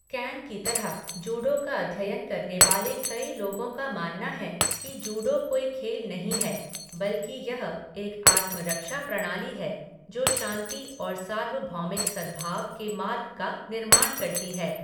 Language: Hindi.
कैन की तरह जूडो का अध्ययन करने वाले कई लोगों का मानना है कि जूडो कोई खेल नहीं है, बल्कि यह एक आत्मरक्षा प्रणाली है, जो शांति और सार्वभौमिक सद्भाव के मार्ग का निर्माण करती है।